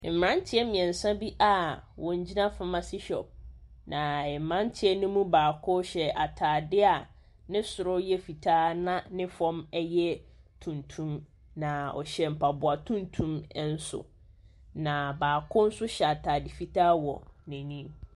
Mmeranteɛ mmeɛnsa bi a wɔgyina pharmacy shop. Na mmeranteɛ no mu baakohyɛ atadeɛ a ne soro yɛ fitaa, na ne fam yɛ tuntum. Na ɔhyɛ mpaboa tuntum nso. Na Baako nso hyɛ atade fitaa wɔ n'anim.